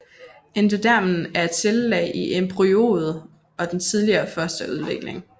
Endodermen er et cellelag i embryoet i den tidlige fosterudvikling